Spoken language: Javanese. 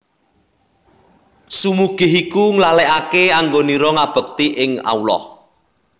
Sumugih iku nglalekake anggonira ngabekti ing Allah